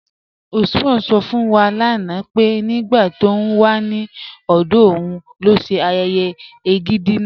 Usman sọ̀ fún wa lánà pé nígbà tó ń wà ní ọdọ̀ ọ̀un ló ṣè ayéyé ègídi náà.